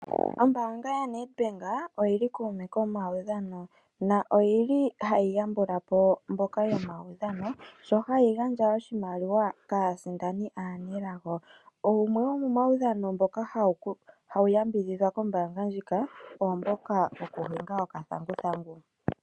Ombaanga yaNedbnk oyi li kuume komaudhano noyi li hayi yambula po mboka yomaudhano sho hayi gandja oshimaliwa kaasindani aanelago. Wumwe womomaudhano mboka hawu yambidhidhwa kombaanga ndjika oomboka wokukayila okathanguthangu.